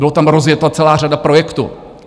Byla tam rozjeta celá řada projektů.